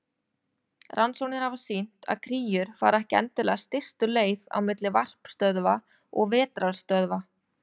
Rannsóknir hafa sýnt að kríur fara ekki endilega stystu leið á milli varpstöðva og vetrarstöðva.